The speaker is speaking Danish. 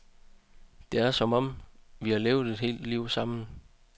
Det er som om, vi har levet et helt liv sammen.